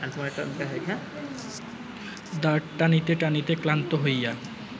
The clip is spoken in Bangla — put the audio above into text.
দাঁড় টানিতে টানিতে ক্লান্ত হইয়া